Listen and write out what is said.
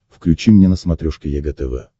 включи мне на смотрешке егэ тв